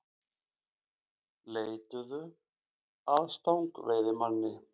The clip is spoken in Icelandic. Leituðu að stangveiðimanni